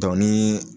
ni